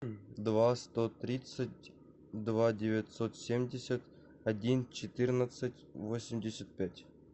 два сто тридцать два девятьсот семьдесят один четырнадцать восемьдесят пять